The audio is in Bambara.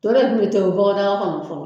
To de tun bɛ tobi bɔgɔdaga kɔnɔ fɔlɔ